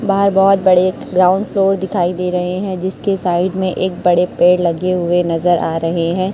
बाहर बहोत बड़े एक ग्राउंड फ्लोर दिखाई दे रहे हैं जिसके साइड में एक बड़े पेड़ लगे हुए नजर आ रहे हैं।